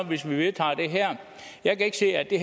hvis vi vedtager det her jeg kan ikke se at det